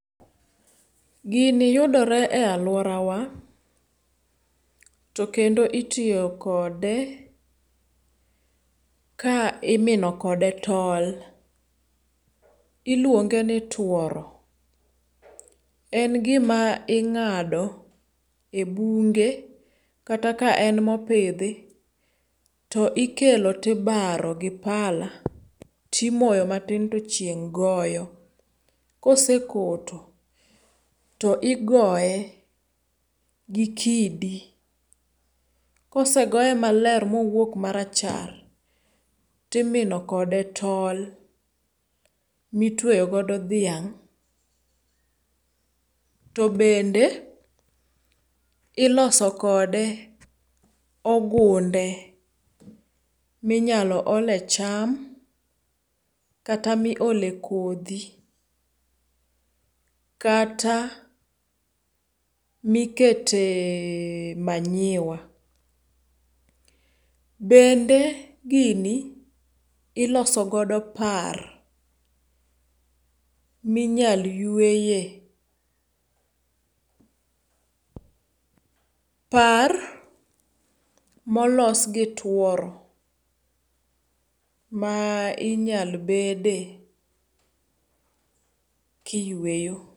Gini yudore e aluora wa to kendo itiyo kode ka imino kode tol. Iluonge ni tuoro. En gima ing'ado e bunge kata ka en mopidhi to ikelo to ibaro gi pala timoyo matin to chieng' goyo. Kose koto to igoye gi kidi. Kosegoye maler mowuok marachar timino kode tol mitweyo godo dhiang'. To bende iloso kode ogunde minyalo ole cham kata miole kodhi kata mikete manyiwa. Bende gini iloso godo par minyal yueye. Par molos gi tuoro ma inyal bede kiyueyo.